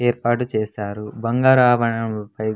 ఏర్పాటు చేశారు బంగార ఆభరణములు టైప్ --